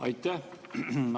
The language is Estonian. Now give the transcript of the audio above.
Aitäh!